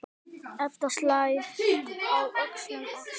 Edda slær á öxl Agnesi.